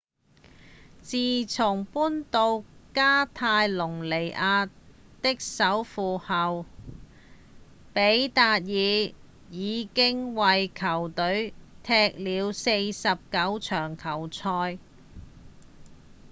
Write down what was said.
自從搬到加泰隆尼亞的首府後比達爾已經為球隊踢了49場球賽